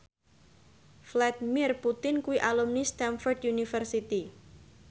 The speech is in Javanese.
Vladimir Putin kuwi alumni Stamford University